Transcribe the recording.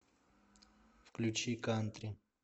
включи кантри